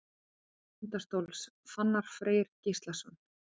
Mark Tindastóls: Fannar Freyr Gíslason.